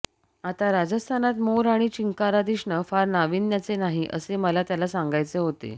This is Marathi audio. आता राजस्थानात मोर आणि चिंकारा दिसणे फार नाविन्याचे नाही असे मला त्याला सांगायचे होते